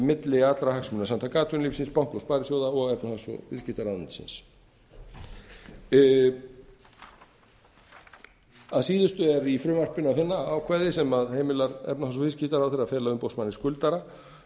milli allra hagsmunasamtaka atvinnulífsins banka og sparisjóða og efnahags og viðskiptaráðuneytisins að síðustu er í frumvarpinu að finna ákvæði sem heimilar efnahags og viðskiptaráðherra að fela umboðsmanni skuldara